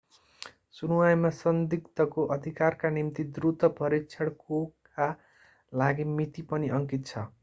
सुनुवाईमा संदिग्धको अधिकारका निम्ति द्रुत परीक्षणकोका लागि मिति पनि अंकित छ